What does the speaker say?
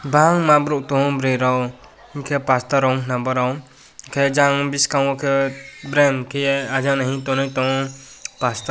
bangma borok tango boroi rok hingke pastor rok ongka na borog hingke jang biskango kei bereng kiye ajan o hing tanai tango pastor rok.